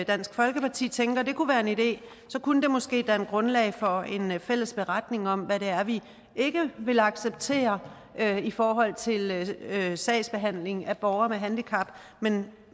dansk folkeparti tænker at det kunne være en idé så kunne det måske danne grundlag for en fælles beretning om hvad det er vi ikke vil acceptere i forhold til sagsbehandling af borgere med handicap men